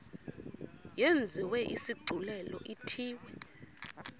yenziwe isigculelo ithiwe